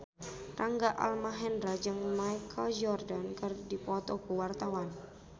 Rangga Almahendra jeung Michael Jordan keur dipoto ku wartawan